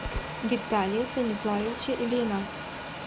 виталия станиславовича ильина